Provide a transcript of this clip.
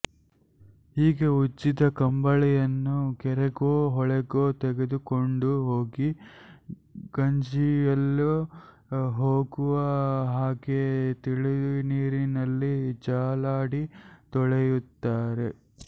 ಹೀಗೆ ಉಜ್ಜಿದ ಕಂಬಳಿಯನ್ನು ಕೆರೆಗೋ ಹೊಳೆಗೋ ತೆಗೆದುಕೊಂಡು ಹೋಗಿ ಗಂಜಿಯೆಲ್ಲ ಹೋಗುವ ಹಾಗೆ ತಿಳಿನೀರಿನಲ್ಲಿ ಜಾಲಾಡಿ ತೊಳೆಯುತ್ತಾರೆ